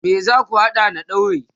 me zaku hada na daurin?